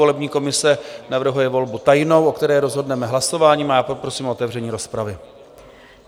Volební komise navrhuje volbu tajnou, o které rozhodneme hlasováním, a já poprosím o otevření rozpravy.